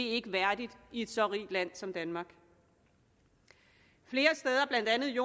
ikke værdigt i et så rigt land som danmark flere steder blandt andet i